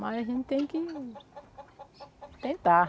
Mas a gente tem que tentar.